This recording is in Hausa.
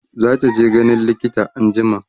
zataje ganin likita anjima